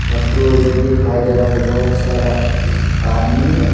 और दूर में दिखाई दे रहा है कि बहुत सारा आदमी है।